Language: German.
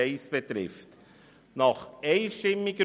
Dazu erteile ich zuerst Grossrat Bichsel für die FiKo das Wort.